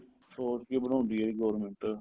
ਸੋਚ ਕੇ ਬਣਾਉਂਦੀ ਆ government